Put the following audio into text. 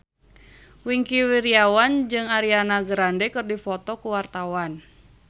Wingky Wiryawan jeung Ariana Grande keur dipoto ku wartawan